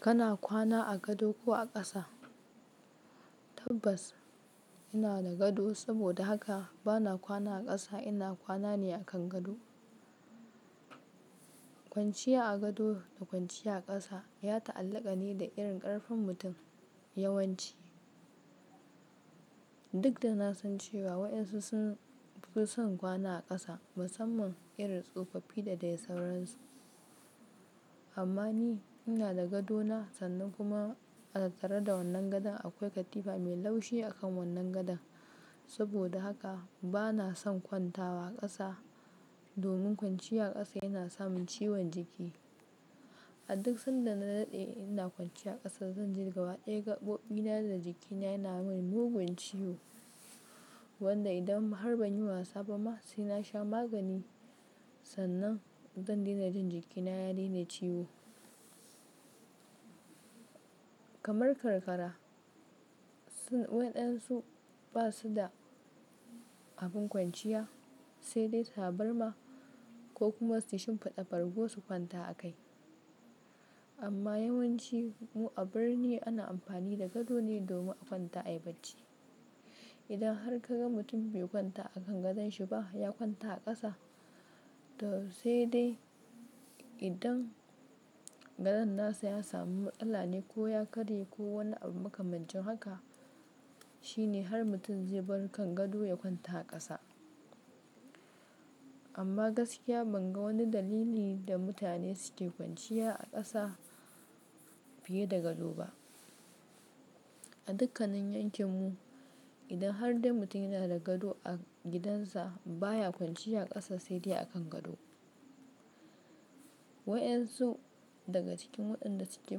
Kana kwana a gado ko a ƙasa? Tabbas ina da gado saboda haka bana kwana a ƙasa, ina kwana ne a kan gado. Kwanciya a gado da kwanciya a ƙasa ya ta'allaka ne da irin ƙarfin mutum, yawanci duk da na san cewa wa ensu sun fi son kwana a ƙasa musamman irin tsofaffi da dai sauransu. Amma ni ina da gado na sannan kuma a tattare da wannan gadon akwai katifa mai laushi a kan wannan gadon. Saboda haka bana son kwantawa a ƙasa domin kwanciya a ƙasa yana samin ciwon jiki. A duk sanda na daɗe ina kwanciya a ƙasa zan ji gaba ɗaya gaɓoɓina da jikina yana min mugun ciwo, wanda idan har ban yi wasa ba ma sai na sha magani sannan zan daina jin jikin na ya daina yin ciwo. Kamar karkara, sun waɗansu basu da abin kwanciya sai dai taburma ko kuma su shimfiɗa bargo su kwanta a kai. Amma yawanci mu a birni ana amfani da gado ne domin a kwanta yi bacci. Idan har ka ga mutum bai kwanta a kan gadon shi ba ya kwanta a ƙasa to sai dai idan gadon nasa ya samu matsala ne ko ya karye ko wani abu makamancin haka shine har mutum zai bar kan gado ya kwanta a ƙasa. Amma gaskiya ban ga wani dalili da mutane suke kwanciya a ƙasa fiye da gado ba. A dukkannin yankin mu idan har dai mutum yana da gado a gidansa baya kwanciya a ƙasa sai dai a kan gado. Waensu daga cikin waɗanda suke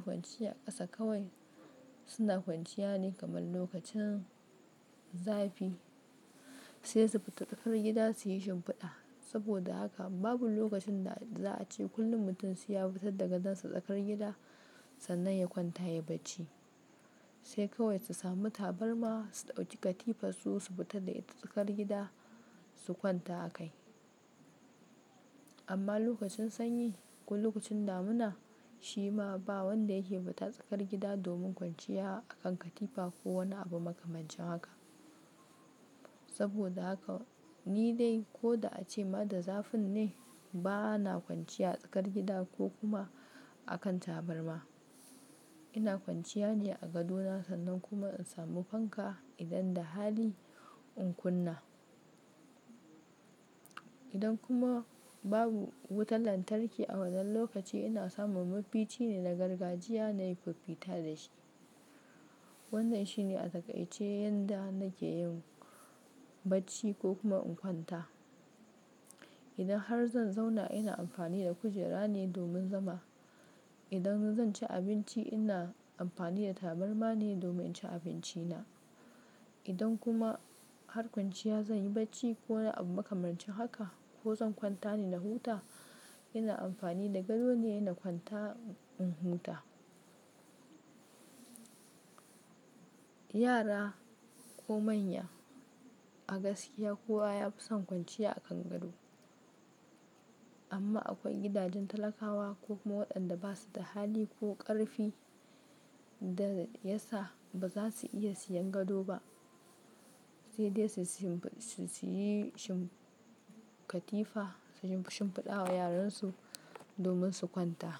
kwanciya a ƙasa kawai suna kwanciya ne kamar lokacin zafi sai su fita tsakar gida suyi shimfiɗa. Saboda haka babu lokacin da za a ce kullum mutum sai ya fitar da gadon sa tsakar gida sannan ya kwanta ya yi bacci. Sai kawai su sami tabarma su ɗauki katifar su su fitar da ita tsakar gida su kwanta a kai. Amma lokacin sanyi ko lokacin damuna shi ma ba wanda yake bata tsakar gida domin kwanciya a kan katifa ko wani abu makamancin haka. Saboda haka ni dai ko da ace ma da zafin ne bana kwanciya a tsakar gida ko kuma a kan taburma. Ina kwanciya ne a gado na sannan kuma in samu fanka idan da hali in kunna. Idan kuma babu wutar lantarki a wannan lokaci ina samun mafici ne na gargajiya nayi fiffita da shi. Wannan shine a takaice yanda nake yin bacci ko kuma in kwanta. Idan har zan zauna ina amfani da kujera ne domin zama. Idan zan ci abinci ina amfani da taburma ne domin ci abinci na. Idan kuma har kwanciya zan yi bacci ko wani abu makamancin haka ko zan kwanta ne na huta ina amfani da gado ne na kwanta in huta. Yara ko manya a gaskiya kowa ya fi son kwanciya a kan gado. Amma akwai gidajen talakawa ko kuma waɗanda basu da hali ko ƙarfi da yasa ba za su iya siyan gado ba sai dai su yi shimfida katifa su shimfiɗa wa yaran su domin su kwanta.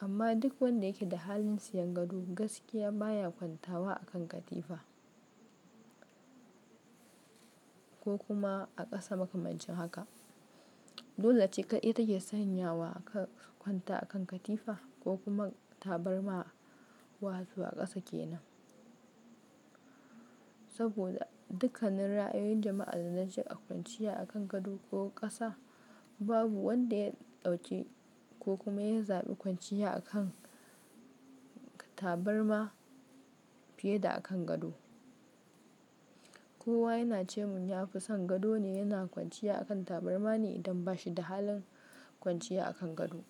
Amma duk wanda yake da halin siyan gado gaskiya baya kwantawa a kan katifa ko kuma a ƙasa makamancin haka. Dole ce ƙai ita ke sanya wa ka kwanta a kan katifa ko kuma taburma wato a ƙasa kenan. Saboda dukkanin ra'ayoyin jama'a da na ji a kwanciya a kan gado ko ƙasa babu wanda ya ɗauki ko kuma ya zaɓi kwanciya a kan tabarma fiye da a kan gado. Kowa yana ce mun ya fi son gado ne yana kwanciya a kan taburma ne idan bashi da halin kwanciya a kan gado.